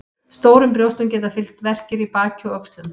Stórum brjóstum geta fylgt verkir í baki og öxlum.